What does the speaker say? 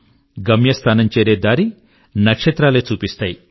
destination చేరే దారి నక్షత్రాలే చూపిస్తాయి